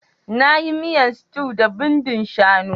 Na yi miyan stew da bindin shanu.